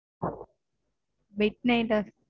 midnight ஆஹ்?